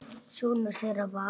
Sonur þeirra var